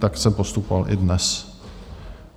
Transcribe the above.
Tak jsem postupoval i dnes.